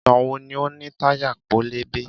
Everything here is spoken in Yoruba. Ìgbà wo ni o ní táyà pẹlẹbẹ?